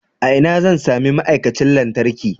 A ina zan sami ma'aikacin lantarki?